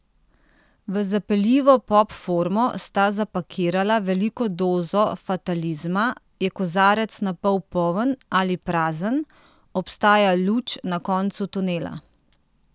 V zapeljivo pop formo sta zapakirala veliko dozo fatalizma, je kozarec napol poln ali prazen, obstaja luč na koncu tunela?